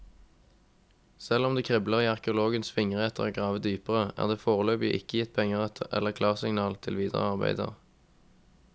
Selv om det kribler i arkeologenes fingre etter å grave dypere, er det foreløpig ikke gitt penger eller klarsignal til videre arbeider.